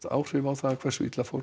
áhrif á það hversu illa fór